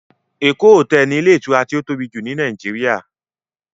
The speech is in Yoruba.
Eko hotel ni ilé ìtura tó tóbi jù ni Nàìjíríà.